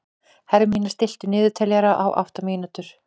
Hermína, stilltu niðurteljara á átta mínútur.